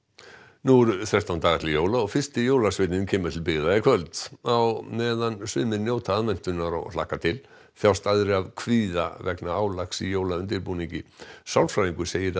nú eru þrettán dagar til jóla og fyrsti jólasveinninn kemur til byggða í kvöld á meðan sumir njóta aðventunnar og hlakka til þjást aðrir af kvíða vegna álags í jólaundirbúningi sálfræðingur segir að